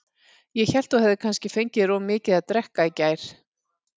Ég hélt þú hefðir kannski fengið þér of mikið að drekka í gær.